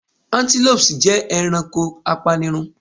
Antelopes jẹ ẹranko apanirun